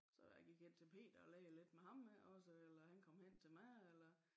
Så jeg gik ind til Peter og lagde lidt med ham også eller han kom hen til mig eller